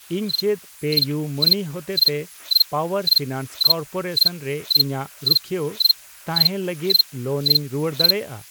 ᱤᱧ ᱪᱮᱫ ᱯᱮᱤᱭᱩᱢᱟᱹᱱᱤ ᱦᱚᱛᱮᱛᱮ ᱯᱟᱣᱟᱨ ᱯᱷᱤᱱᱟᱱᱥ ᱠᱚᱨᱯᱚᱨᱮᱥᱚᱱ ᱨᱮ ᱤᱧᱟᱜ ᱨᱩᱠᱷᱣᱟᱹ ᱛᱟᱦᱮᱸᱱ ᱞᱟᱹᱜᱤᱛ ᱞᱳᱱ ᱤᱧ ᱨᱩᱣᱟᱹᱲ ᱫᱟᱲᱮᱭᱟᱜᱼᱟ ?